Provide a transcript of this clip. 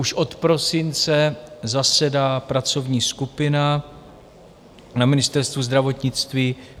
Už od prosince zasedá pracovní skupina na Ministerstvu zdravotnictví.